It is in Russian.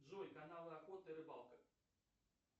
джой канал охота и рыбалка